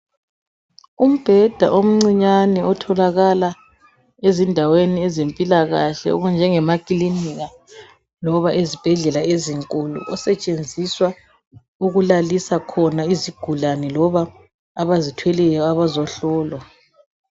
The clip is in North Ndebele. Umbheda omncinyane otholakala ezindaweni zempilakahle okunjengemakilinika loba ezibhedlela ezinkulu osetshenziswa ukulalisa khona izigulane loba abazithweleyo abazohlolwa.